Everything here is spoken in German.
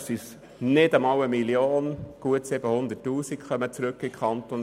Tatsächlich kommen dem Kanton Bern nicht einmal 1 Mio. Franken zugute, sondern nur rund 700 000 Franken.